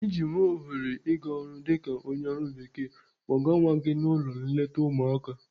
Iji nwee ohere ị gaa ọrụ dịka onye ọrụ bekee, kpọga nwa gị n'ụlọ nleta ụmụaka.